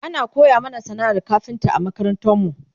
ana koya mana sana'ar kafinta a makarantarmu